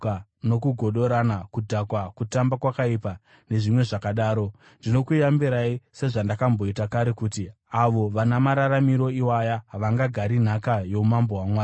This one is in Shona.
nokugodorana; kudhakwa, kutamba kwakaipa, nezvimwe zvakadaro. Ndinokuyambirai, sezvandakamboita kare kuti avo vana mararamiro iwaya havangagari nhaka youmambo hwaMwari.